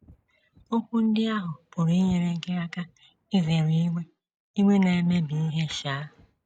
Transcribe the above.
Okwu ndị ahụ pụrụ inyere gị aka izere iwe iwe na - ebibi ihe um.